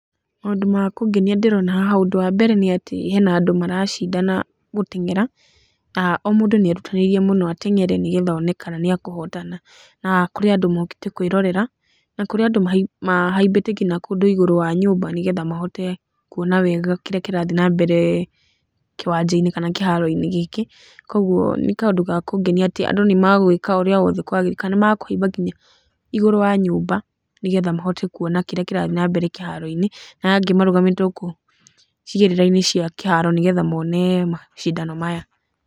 Maũndũ makũngenia ndĩrona haha, ũndũ wa mbere nĩ atĩ hena andũ maracindana gũteng'era, o mũndũ nĩ erutanĩirie mũno ateng'ere, nĩgetha one kana nĩ ekũhotana. Na kũrĩ andũ mokĩte kwĩrorera na kũrĩ andũ mahaimbĩte ngina kũndũ igũrũ wa nyũmba, nĩgetha mahote kuona wega kĩrĩa kĩrathiĩ na mbere kĩwanja-inĩ kana kĩharo-inĩ gĩkĩ. Koguo nĩ kaũndũ ga kũngenia atĩ andũ nĩmagũĩka ũrĩa wothe kwagĩrĩire, kana nĩ makũhaimba nginya igũrũ wa nyũmba, nĩgetha mahote kuona kĩrĩa kĩrathiĩ na mbere kĩharo-inĩ, na angĩ marũgamĩte gũkũ icigĩrĩra-inĩ cia kĩharo, nĩgetha mone macindano maya.